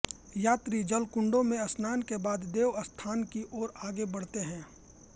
यात्री जलकुंडों में स्नान के बाद देव स्थान की ओर आगे बढ़ते हैं